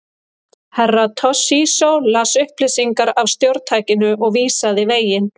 Herra Toshizo las upplýsingar af stjórntækinu og vísaði veginn.